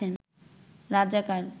রাজাকার